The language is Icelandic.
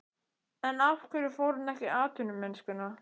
En af hverju fór hann ekki í atvinnumennskuna?